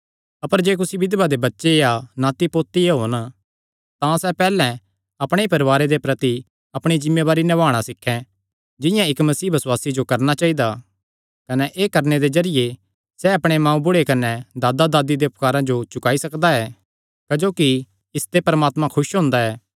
अपर जे कुसी बिधवा दे बच्चे या नाती पोते होन तां सैह़ पैहल्लैं अपणे ई परवारे दे प्रति अपणी जिम्मेवारी नभाणा सीखें जिंआं इक्क मसीह बसुआसी जो करणा चाइदा कने एह़ करणे दे जरिये सैह़ अपणे मांऊबुढ़े कने दादादादी दे उपकारां जो चुकाई सकदा ऐ क्जोकि इसते परमात्मा खुस हुंदा ऐ